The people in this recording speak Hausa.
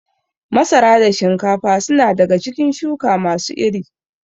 Masara da shinkafa su na daga cikin shuka ma su iri